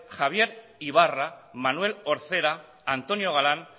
javier ybarra manuel orcera antonio galán